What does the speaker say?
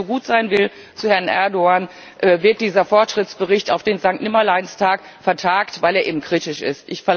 Aber weil man jetzt so gut zu Herrn Erdoğan sein will, wird dieser Fortschrittsbericht auf den Sanktnimmerleinstag vertagt, weil er eben kritisch ist.